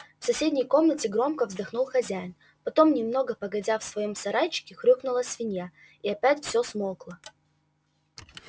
в соседней комнате громко вздохнул хозяин потом немного погодя в своём сарайчике хрюкнула свинья и опять всё смолкло